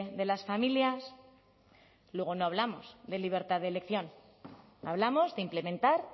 de las familias luego no hablamos de libertad de elección hablamos de implementar